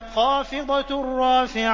خَافِضَةٌ رَّافِعَةٌ